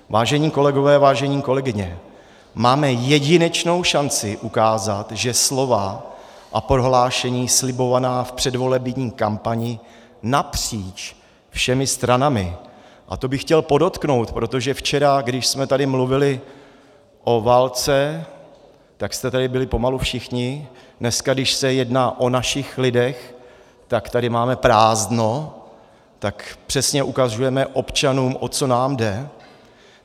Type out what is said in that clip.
Vážení kolegové, vážené kolegyně, máme jedinečnou šanci ukázat, že slova a prohlášení slibovaná v předvolební kampani napříč všemi stranami - a to bych chtěl podotknout, protože včera, když jsme tady mluvili o válce, tak jste tady byli pomalu všichni, dneska, když se jedná o našich lidech, tak tady máme prázdno, tak přesně ukazujeme občanům, o co nám jde.